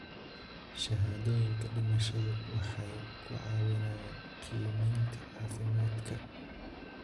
Shahaadooyinka dhimashadu waxay ku caawinayaan qiimaynta caafimaadka.